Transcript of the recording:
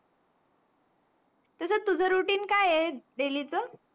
तुझं तुझं routine काय आहे daily च?